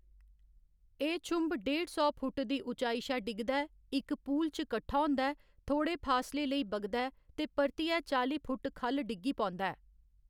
एह्‌‌ छुंभ डेढ़ सौ फुट्ट दी ऊचाई शा डिगदा ऐ, इक पूल च कट्ठा होंदा ऐ, थोह्‌ड़े फासले लेई बगदा ऐ ते परतियै चाली फुट्ट ख'ल्ल डिग्गी पौंदा ऐ।